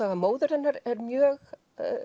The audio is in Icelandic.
móður hennar er mjög